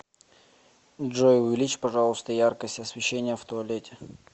джой увеличь пожалуйста яркость освещения в туалете